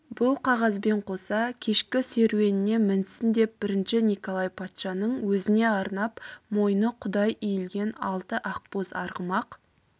бұл қағазбен қоса кешкі серуеніне мінсін деп бірінші николай патшаның өзіне арнап мойны қудай иілген алты ақбоз арғымақ